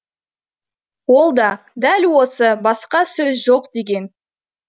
ол да дәл осы басқа сөз жоқ деген